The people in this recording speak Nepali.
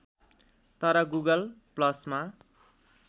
तर गुगल ‌प्लसमा